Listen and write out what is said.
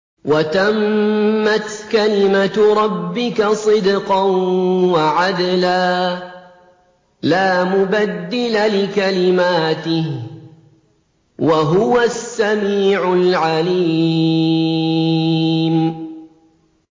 وَتَمَّتْ كَلِمَتُ رَبِّكَ صِدْقًا وَعَدْلًا ۚ لَّا مُبَدِّلَ لِكَلِمَاتِهِ ۚ وَهُوَ السَّمِيعُ الْعَلِيمُ